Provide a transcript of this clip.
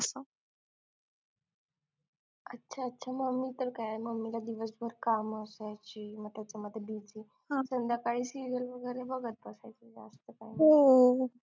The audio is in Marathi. अच्छा अच्छ mummy पण काय mummy ला दिवसभर काम असायची मग त्याच्यामध्ये busy संध्याकाळी serial वगैरे बघत असायची जास्त काय नाय